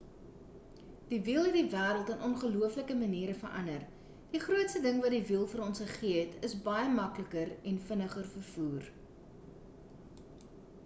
die wiel het die wêreld in ongelooflike maniere verander die grootste ding wat die wiel vir ons gegee het is baie makliker en vinniger vervoer